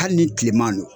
Hali ni tilema don